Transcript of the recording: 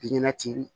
Ɲɛnati